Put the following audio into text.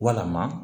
Walama